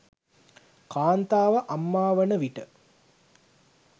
කාන්තාව අම්මා වන විට